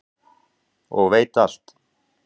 og veit alt.